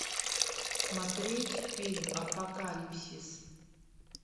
смотреть фильм апокалипсис